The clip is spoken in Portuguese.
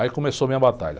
Aí começou a minha batalha.